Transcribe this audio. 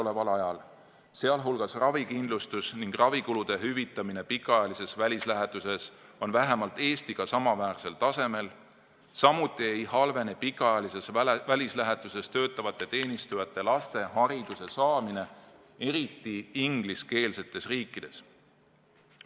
See tähendab, et ravikindlustus ning ravikulude hüvitamine pikaajalises välislähetuses on vähemalt Eestiga samaväärsel tasemel, samuti ei halvene pikaajalises välislähetuses töötavate teenistujate laste hariduse saamine, eriti ingliskeelsetes riikides.